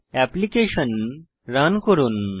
application run করুন